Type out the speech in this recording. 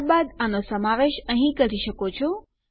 ત્યારબાદ આનો સમાવેશ અહીં કરી શકો છો